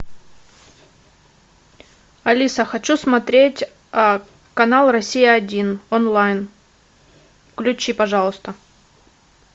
алиса хочу смотреть канал россия один онлайн включи пожалуйста